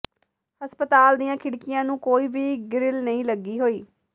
ਹਸਪਤਾਲ ਦੀਆਂ ਖਿੜਕੀਆਂ ਨੂੰ ਕੋਈ ਵੀ ਗਿਰਲ ਨਹੀਂ ਲੱਗੀ ਹੋਈ